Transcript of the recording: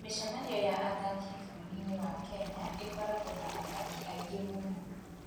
Mĩcemanio ya athaki bũrũri-inĩ wa Kenya ĩkoragwo na athaki aingĩ mũno.